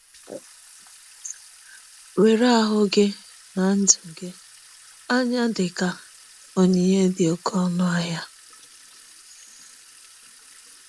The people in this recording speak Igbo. Were ahụ gị na ndụ gị anya dị ka onyinye dị oké ọnụ ahịa.